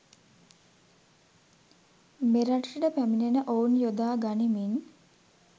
මෙරටට පැමිනෙන ඔවුන් යොදා ගණිමින්